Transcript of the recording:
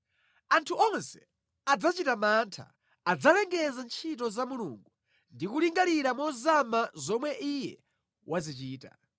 Anthu onse adzachita mantha; adzalengeza ntchito za Mulungu ndi kulingalira mozama zomwe Iye wazichita.